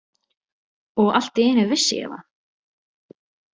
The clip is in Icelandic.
Og allt í einu vissi ég það!